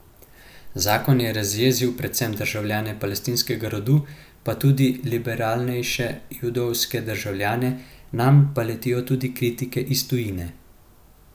Zakon je razjezil predvsem državljane palestinskega rodu, pa tudi liberalnejše judovske državljane, nanj pa letijo tudi kritike iz tujine.